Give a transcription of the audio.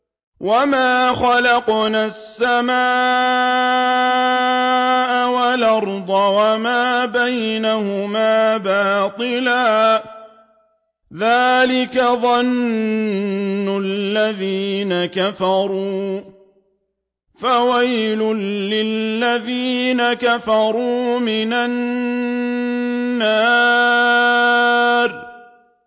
وَمَا خَلَقْنَا السَّمَاءَ وَالْأَرْضَ وَمَا بَيْنَهُمَا بَاطِلًا ۚ ذَٰلِكَ ظَنُّ الَّذِينَ كَفَرُوا ۚ فَوَيْلٌ لِّلَّذِينَ كَفَرُوا مِنَ النَّارِ